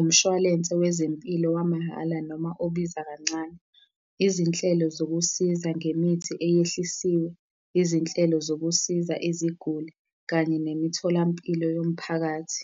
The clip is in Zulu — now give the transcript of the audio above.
umshwalense wezempilo wamahhala noma obiza kancane, izinhlelo zokusiza ngemithi eyehlisiwe yezinhlelo zokusiza iziguli kanye nemitholampilo yomphakathi.